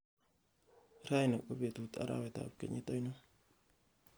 raini ko betut arawet ab kenyit ainon